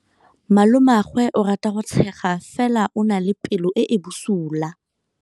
Malomagwe o rata go tshega fela o na le pelo e e bosula.